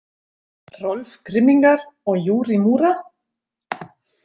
Rolf Grimminger og Jurij Mura?